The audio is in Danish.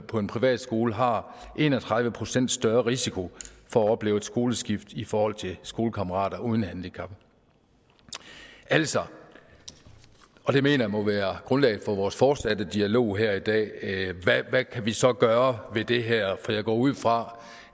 på en privatskole har en og tredive procent større risiko for at opleve et skoleskift i forhold til skolekammerater uden handicap altså og det mener jeg må være grundlaget for vores fortsatte dialog her i dag hvad kan vi så gøre ved det her for jeg går ud fra